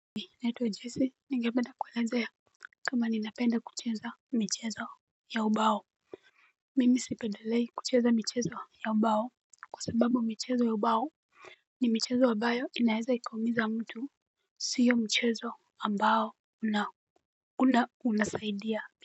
Mi naitwa jesi ningepeda kuelezea kama ninapenda kucheza michezo ya ubao. Mimi sipedelei kucheza michezo ya ubao kwa sababu michezo ya ubao ni michezo ambayo inaeza ikaumiza mtu. Siyo mchezo ambao unasaidia.